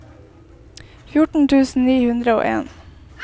fjorten tusen ni hundre og en